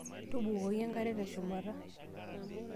Tubukoki enkare teshumata.